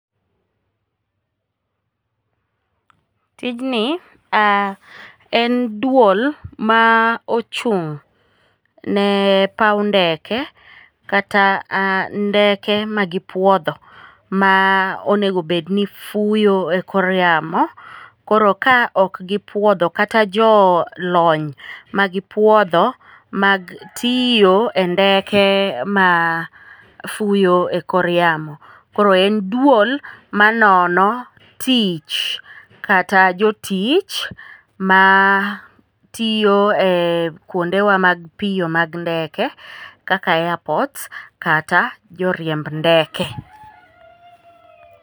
Tijni en duol ma ochung'ne paw ndeke kata ndeke magipuodho ma onego obedni fuyo e kor yamo, koro ka ok gipuodho kata jolony magipuodho mag tiyo e ndeke mafuyo e kor yamo, koro en duol manono tich kata jotich matiyo kwondewa mag piyo mag ndeke kaka airport kata joriemb ndeke.